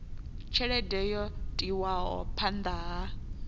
tshelede yo tiwaho phanda ha